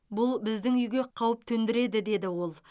бұл біздің үйге қауіп төндіреді деді ол